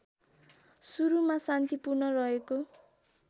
सुरुमा शान्तिपूर्ण रहेको